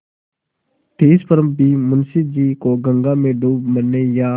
तिस पर भी मुंशी जी को गंगा में डूब मरने या